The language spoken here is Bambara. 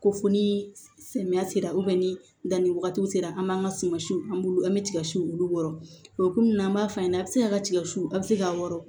Ko fo ni samiya sera ni danni wagatiw sera an ma an ka sumansiw an bolo an bɛ tiga si olu wɔ o kɔnɔna na an b'a f'a ɲɛna a bɛ se a ka tiga su a bɛ se k'a wɔrɔ